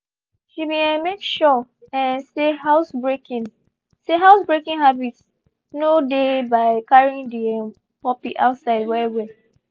she been um make sure um say housebreaking say housebreaking habits mo dey by carrying the um puppy outside well well